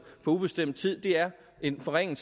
på ubestemt er en forringelse